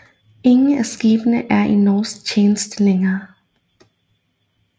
Ingen af skibene er i norsk tjeneste længere